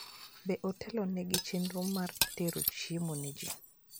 Be otelno nigi chenro mar tero chiemo ne ji?